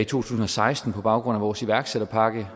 tusind og seksten på baggrund af vores iværksætterpakke